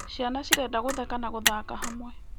Ciana cirenda gũtheka na gũthaka hamwe.